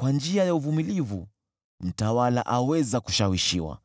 Kwa njia ya uvumilivu mtawala aweza kushawishiwa,